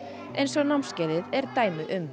eins og námskeiðið er dæmi um